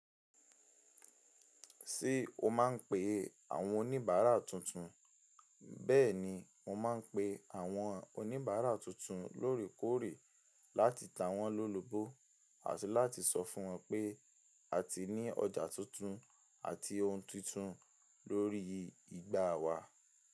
Ṣé o má ń pe àwọn oníbàárà tuntun? Bẹ́ẹ̀ni, mo má ń pe àwọn oníbàárà tuntun lóòrèkóòrè láti ta wọ́n lólúbó àti láti sọ fún wọn pé a ti ní ọjà tuntun àti ohun tuntun lórí igbà wa.